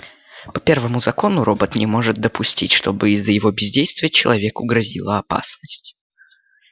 по первому закону робот не может допустить чтобы из-за его бездействия человеку грозила опасность